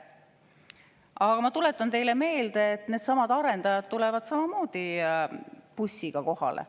Aga ma tuletan teile meelde, et needsamad arendajad tulevad samamoodi bussiga kohale.